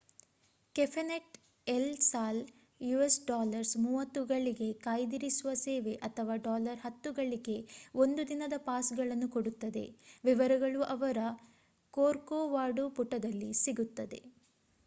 cafe net El Sal us$30 ಗಳಿಗೆ ಕಾಯ್ದಿರಿಸುವ ಸೇವೆ ಅಥವಾ $10 ಗಳಿಗೆ 1 ದಿನದ ಪಾಸ್‌ಗಳನ್ನು ಕೊಡುತ್ತದೆ: ವಿವರಗಳು ಅವರ ಕೋರ್ಕೊವಾಡೂ ಪುಟದಲ್ಲಿ ಸಿಗುತ್ತದೆ